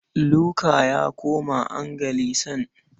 Luka ya koma Anglican.